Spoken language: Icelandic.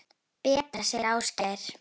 Betra, segir Ásgeir.